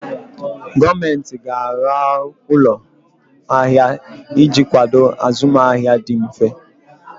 Gọọmenti ga-arụ ụlọ ahịa iji kwado azụmahịa dị mfe.